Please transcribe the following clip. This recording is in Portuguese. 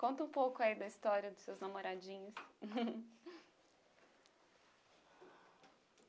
Conta um pouco aí da história dos seus namoradinhos.